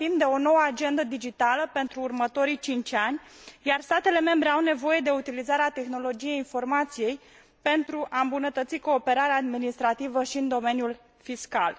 Vorbim de o nouă agendă digitală pentru următorii cinci ani, iar statele membre au nevoie de utilizarea tehnologiei informației pentru a îmbunătăți cooperarea administrativă și în domeniul fiscal.